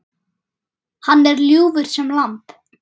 Hann var ljúfur sem lamb.